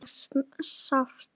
Það var sárt.